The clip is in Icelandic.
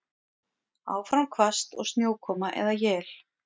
Áfram hvasst og snjókoma eða él